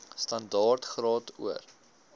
standaard graad or